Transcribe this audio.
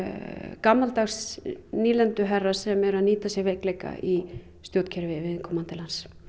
gamaldags nýlenduherra sem eru að nýta sér veikleika í stjórnkerfi viðkomandi lands